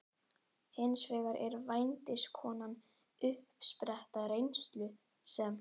Hins vegar er vændiskonan uppspretta reynslu sem